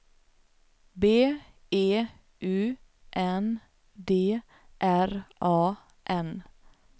B E U N D R A N